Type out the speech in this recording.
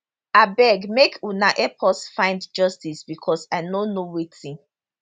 abeg make una help us find justice because i no know wetin